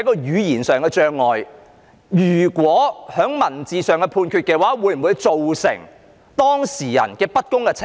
如果以書面作出判決，會否對當事人不公平？